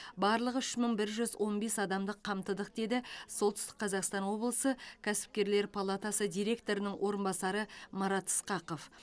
барлығы үш мың бір жүз он бес адамды қамтыдық деді солтүстік қазақстан облысы кәсіпкерлер палатасы директорының орынбасары марат ысқақов